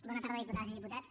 bona tarda diputades i diputats